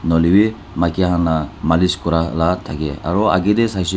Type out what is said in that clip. nahoilae bi maki khan la malish kurala thakae aro ake tae saishae.